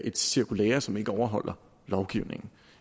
et cirkulære som ikke overholder lovgivningen